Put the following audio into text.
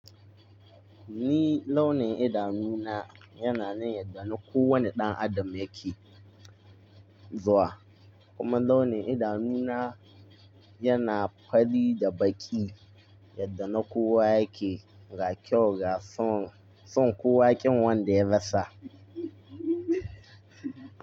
Ni launin idanu na yana yanda na kowane ɗan Adam yake zuwa, kuma launin idanu na yana fari da baki yadda na kowa yake ga kyau ga son, son kowa ƙin wanda ya rasa.